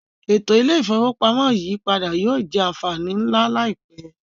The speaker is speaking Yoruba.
Eto ile-ifowopamọ iyipada yoo jẹ anfani nla laipẹ.